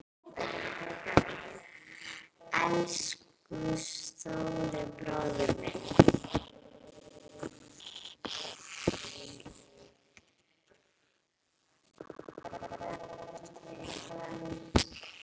Elsku stóri bróðir minn.